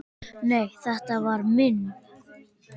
Nei, þetta var minn